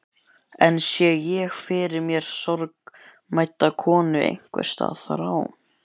Enn sé ég fyrir mér sorgmædda konu einhvers staðar á